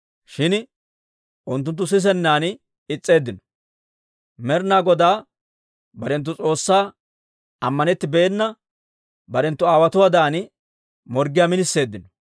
Shin unttunttu sisennan is's'eeddino. Med'ina Godaa barenttu S'oossaa ammanettibeenna barenttu aawotuwaadan morggiyaa miniseeddino.